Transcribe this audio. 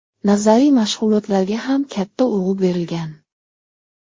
Nazariy mashg‘ulotlarga ham katta urg‘u berilgan.